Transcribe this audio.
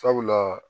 Sabula